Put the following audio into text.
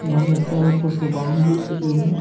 यहाँ चारों तरफ से बाउंड्री की गई है।